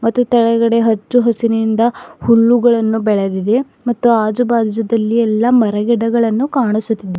ಅದ್ರು ತೆಳಗಡೆ ಹಚ್ಚು ಹಸಿರಿನಿಂದ ಹುಲ್ಲುಗಳನ್ನು ಬೆಳೆದಿದೆ ಮತ್ತು ಆಜುಬಾಜುದಲ್ಲಿ ಎಲ್ಲಾ ಮರಗಿಡಗಳನ್ನು ಕಾಣಿಸುತ್ತಿ--